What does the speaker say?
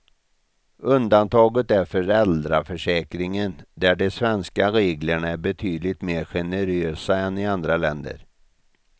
Undantaget är föräldraförsäkringen där de svenska reglerna är betydligt mer generösa än i andra länder.